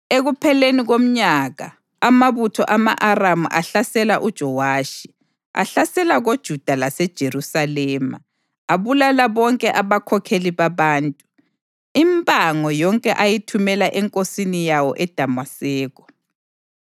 Ekupheleni komnyaka amabutho ama-Aramu ahlasela uJowashi; ahlasela koJuda laseJerusalema abulala bonke abakhokheli babantu. Impango yonke ayithumela enkosini yawo eDamaseko.